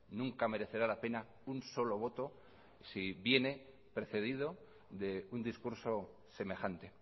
nunca merecerá la pena un solo voto si viene precedido de un discurso semejante